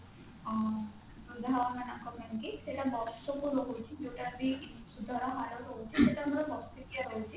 ଆଁ ବୃଦ୍ଧ ମାନଙ୍କ ପାଇଁକି ସେଟା ବର୍ଷ କୁ ରହୁଛି ଯୋଉଟା ଭି ସୁଧ ର ହାର ହଉଛି ସେଟା ଆମର ବାର୍ଷିକୀୟା ରହୁଛି